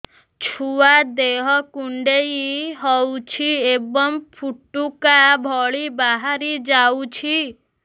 ଛୁଆ ଦେହ କୁଣ୍ଡେଇ ହଉଛି ଏବଂ ଫୁଟୁକା ଭଳି ବାହାରିଯାଉଛି